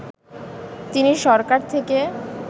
তিনি সরকার থেকে